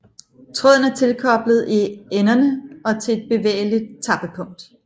Tråden er tilkoblet i enderne og til et bevægeligt tappepunkt